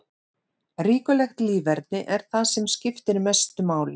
Reglulegt líferni er það sem skiptir mestu máli.